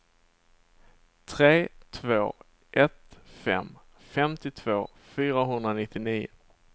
tre två ett fem femtiotvå fyrahundranittionio